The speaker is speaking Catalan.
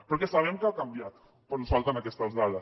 perquè sabem que ha canviat però ens falten aquestes dades